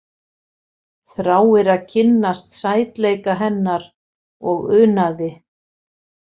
Þráir að kynnast sætleika hennar og unaði.